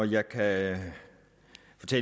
jeg da